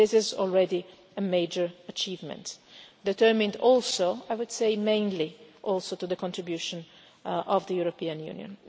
And this is already a major achievement, determined also, I would say mainly through the contribution of the European Union.